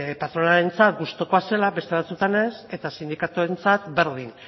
patronalarentzat gustukoa zela beste batzuetan ez eta sindikatuentzat berdin